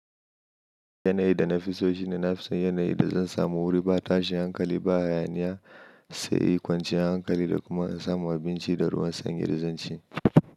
Yanayi da na fi so shine nafi son yanayi da zan samu wuri ba tashin hankali ba, hayaniya, tsayi, kwanciyar hankali da kuma in samu abinci da ruwan sanyi da zanci.